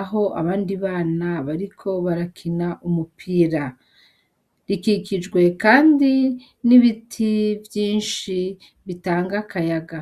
aho abandi bana bariko barakina umupira, ikikijwe kandi n'ibiti vyinshi bitanga akayaga.